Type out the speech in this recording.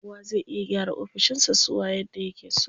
Kowa zai iya gyara ofishin sa suwa yadda yake so.